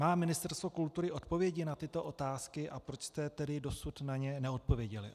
Má Ministerstvo kultury odpovědi na tyto otázky a proč jste tedy dosud na ně neodpověděli?